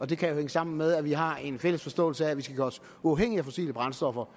det kan jo hænge sammen med at vi har en fælles forståelse af at vi skal gøre sig uafhængig af fossile brændstoffer